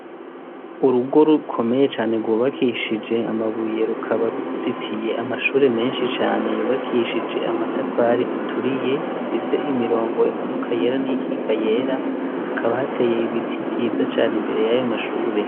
Urugo rukomeye cane rwubakishije amabuye rukaba ruzitiye amashure menshi cane yubakishije amatafari aturiye asize imirongo imanuka yera n'iyikika yera. Hakaba hatey'ibiti vyiza cane imbere y'ayomashure.